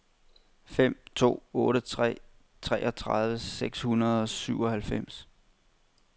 fem to otte tre treogtredive seks hundrede og syvoghalvfems